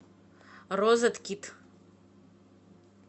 розеткит